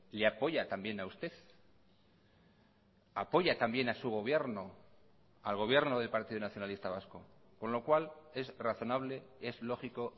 le apoya también a usted apoya también a su gobierno al gobierno del partido nacionalista vasco con lo cual es razonable es lógico